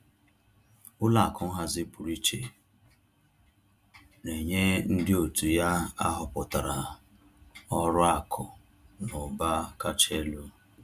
Ụlọ akụ nhazi pụrụ iche na-enye ndị òtù ya ahọpụtara ọrụ akụ na ụba kacha elu